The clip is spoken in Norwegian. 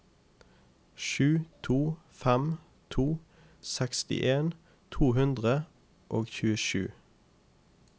sju to fem to sekstien to hundre og tjuesju